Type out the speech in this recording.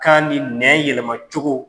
K'an ni nɛ yɛlɛmacogo